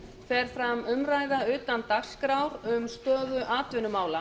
fer fram umræða utan dagskrár um stöðu atvinnumála